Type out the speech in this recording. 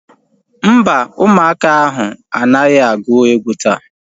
Mba, ụmụaka ahu anaghị agu egwu taa